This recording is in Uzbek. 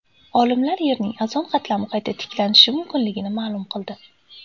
Olimlar Yerning ozon qatlami qayta tiklanishi mumkinligini ma’lum qildi.